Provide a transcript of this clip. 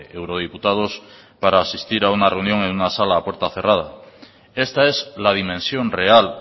eurodiputados para asistir a una reunión en una sala a puerta cerrada esta es la dimensión real